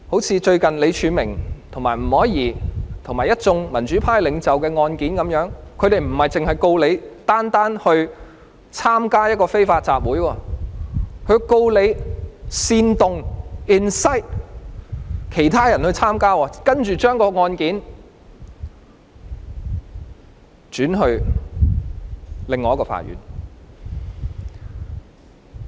正如最近李柱銘和吳靄儀及一眾民主派領袖的案件一樣，不單是控告他們參與一個非法集會，還控告他們煽動其他人參與，之後將案件轉交另一所法院。